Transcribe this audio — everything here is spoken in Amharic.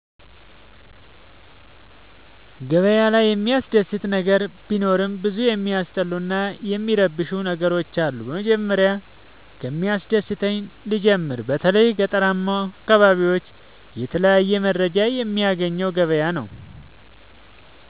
ገበያ ላይ የሚያስደስ ነገር ቢኖርም ብዙ የሚያስጠሉኝ እና የሚረብሸኝ ነገሮች አሉ። መጀመሪያ ከሚያስደስተኝ ልጀምር በተለይ ገጠራማ አካቢዎች የተለያየ መረጃ የሚያገኘው ገበያ ነው።